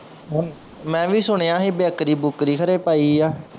ਮੈਂ ਵੀ ਸੁਣਿਆ ਸੀ ਬੇਕਰੀ ਬੁੱਕਰੀ ਖਰੇ ਪਾਈ ਆ